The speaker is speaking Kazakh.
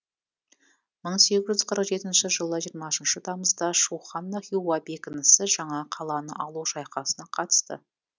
мың сегіз жүз қырық жетінші жылы жиырмасыншы тамызда шухана хиуа бекінісі жаңа қаланы алу шайқасына қатысты